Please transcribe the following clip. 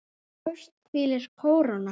Efst hvílir kóróna.